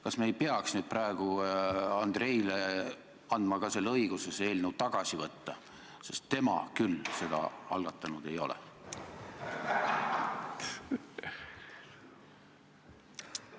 Kas me ei peaks praegu andma Andreilegi õigust see eelnõu tagasi võtta, sest tema seda algatanud ei ole?